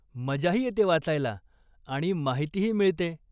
मजाही येते वाचायला, आणि माहितीही मिळते.